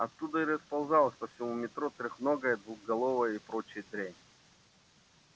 оттуда и расползалась по всему метро трёхногая двухголовая и прочая дрянь